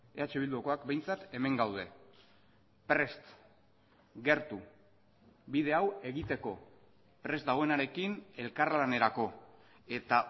eh bildukoak behintzat hemen gaude prest gertu bide hau egiteko prest dagoenarekin elkarlanerako eta